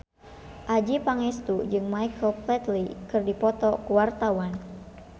Adjie Pangestu jeung Michael Flatley keur dipoto ku wartawan